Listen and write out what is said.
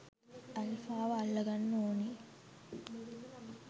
ඇල්ෆාව අල්ලගන්න ඕන